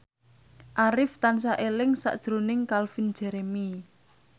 Arif tansah eling sakjroning Calvin Jeremy